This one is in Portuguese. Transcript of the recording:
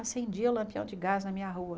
Acendia o lampião de gás na minha rua.